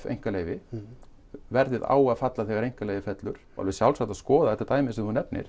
einkaleyfi verðið á að falla þegar einkaleyfið fellur og alveg sjálfsagt að skoða þetta dæmi sem þú nefnir